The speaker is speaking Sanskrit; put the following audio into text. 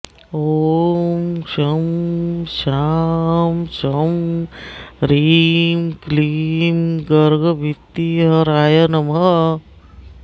ॐ शं शां षं ह्रीं क्लीं गर्गभीतिहराय नमः